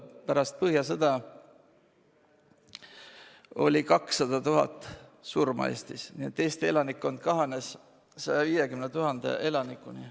Põhjasõja ajal oli Eestis 200 000 surma, mistõttu siinne elanikkond kahanes 150 000 inimeseni.